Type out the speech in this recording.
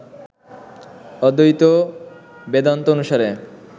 অদ্বৈত বেদান্ত অনুসারে